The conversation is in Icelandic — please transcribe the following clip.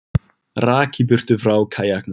Rak í burtu frá kajaknum